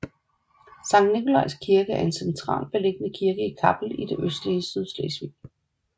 Sankt Nikolaj Kirke er en centralt beliggende kirke i Kappel i det østlige Sydslesvig